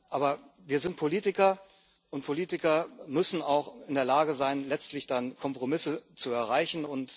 Aber wir sind Politiker, und Politiker müssen auch in der Lage sein, letztlich Kompromisse zu erreichen.